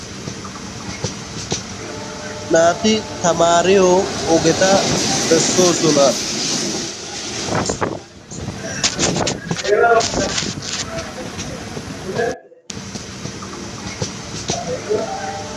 naati tamaariyo ogeta bessoosona